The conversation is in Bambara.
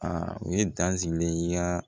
Aa u ye dazinan